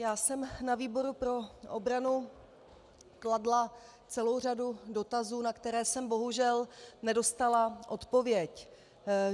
Já jsem na výboru pro obranu kladla celou řadu dotazů, na které jsem bohužel nedostala odpověď.